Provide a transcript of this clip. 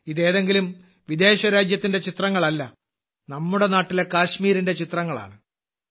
ഇത് ഏതെങ്കിലും വിദേശ രാജ്യത്തിന്റെ ചിത്രങ്ങളല്ല നമ്മുടെ നാട്ടിലെ കാശ്മീരിന്റെ ചിത്രങ്ങളാണ്